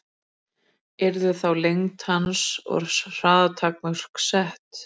yrðu þá lengd hans og hraða takmörk sett